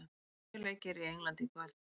Sjö leikir í Englandi í kvöld